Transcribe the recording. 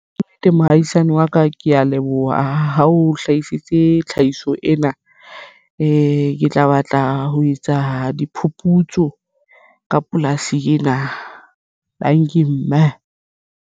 Kannete mohaisane wa ka ke ya leboha ha o hlahisitse tlhahiso ena ke tla batla ho etsa diphuputso ka polasi ena tanki mme.